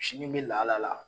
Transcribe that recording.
Sini bɛ lala la